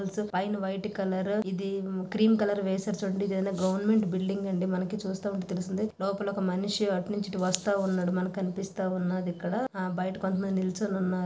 పైన white colour ఇది cream colour వేశారు చూడండి ఇది గవర్నమెంట్ బిల్డింగ్ అండి. మనకి చూస్తే మనకి తెలుస్తుంది లోపల ఒక మనిషి అటు నుంచి ఇటు వస్తా ఉన్నడు మనకి కనిపిస్తా ఉన్నది. ఇక్కడ బైట కొంత మంది నిలుచొని ఉన్నారు.